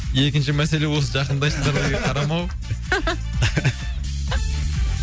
екінші мәселе осы жақындайсызбаға қарамау